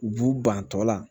U b'u ban tɔ la